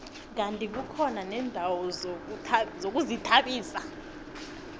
kandi kukhona neendawo zokuzithabisa